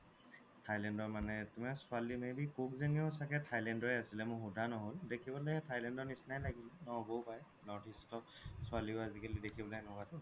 thailand ৰ মানে তুমাৰ ছোৱালি য্নি may be cook য্নিও thailand ৰে আছিলে মোৰ সুধা নহ'ল দেখিব লে thailand ৰ নিচিনায়ে লাগিলে নহ্'বও পাৰে northeast ছোৱালিও আজিকালি দেখিবলৈ সেনেকুৱাতো